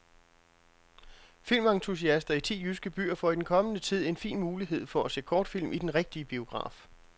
Filmentusiaster i ti jyske byer får i den kommende tid en fin mulighed for at se kortfilm i den rigtige biograf.